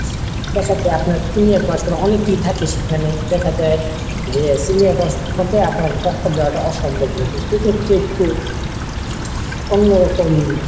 আপনার senior person অনেকেই থাকে সেখানে দেখা যায় যে senior person এর মধ্যে আপনাকে টক্কর দেওয়াটা অসম্ভব হয়ে যায় সেক্ষেত্রে একটু অন্যরকম।